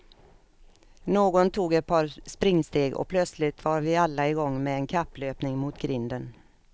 Någon tog ett par springsteg och plötsligt var vi alla i gång med en kapplöpning mot grinden.